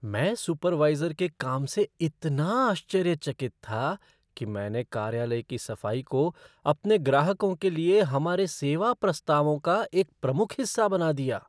मैं सुपरवाइज़र के काम से इतना आश्चर्यचकित था कि मैंने कार्यालय की सफ़ाई को अपने ग्राहकों के लिए हमारे सेवा प्रस्तावों का एक प्रमुख हिस्सा बना दिया।